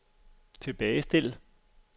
tilbagestil